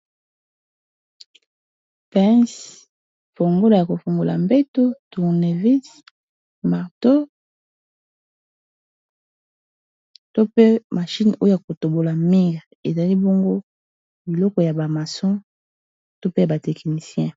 Pince fongola ya kofongola mbeto tournevis marteau to pe mashine oyo kotobola mire ezali bongo biloko ya ba maçon to pe ba tekinicien.